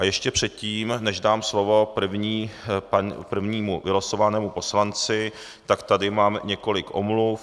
A ještě předtím, než dám slovo prvnímu vylosovanému poslanci, tak tady mám několik omluv.